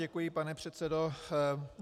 Děkuji, pane předsedo.